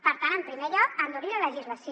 per tant en primer lloc endurir la legislació